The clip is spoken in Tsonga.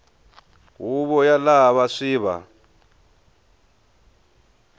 huvo ya lava swi va